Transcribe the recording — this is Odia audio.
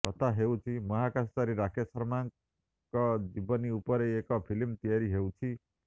କଥା ହେଉଛି ମହାକାଶଚାରୀ ରାକେଶ ଶର୍ମାଙ୍କ ଜୀବନୀ ଉପରେ ଏକ ଫିଲ୍ମ ତିଆରି ହେଉଛି